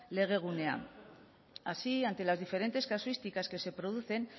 legegunea así ante las diferentes casuísticas que se producen